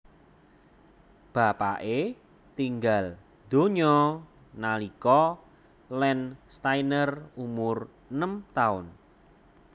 Bapake tinggal donya nalika Landsteiner umur enem taun